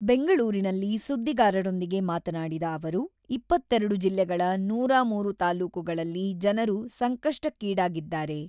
ಬೆಂಗಳೂರಿನಲ್ಲಿ ಸುದ್ದಿಗಾರರೊಂದಿಗೆ ಮಾತನಾಡಿದ ಅವರು, ಇಪ್ಪತ್ತೆರಡು ಜಿಲ್ಲೆಗಳ ನೂರಮೂರು ತಾಲೂಕುಗಳಲ್ಲಿ ಜನರು ಸಂಕಷ್ಟಕ್ಕೀಡಾಗಿದ್ದಾರೆ.